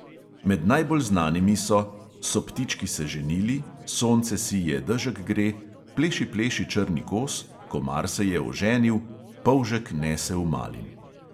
Med bolj znanimi so: so ptički se ženili; sonce sije, dežek gre; pleši pleši črni kos; komar se je oženil; polžek nese v mlin.